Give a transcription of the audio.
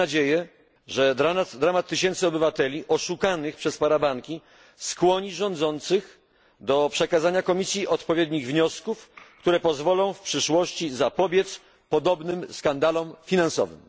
Mamy nadzieję, że dramat tysięcy obywateli oszukanych przez parabanki skłoni rządzących do przekazania Komisji odpowiednich wniosków, które pozwolą w przyszłości zapobiec podobnym skandalom finansowym.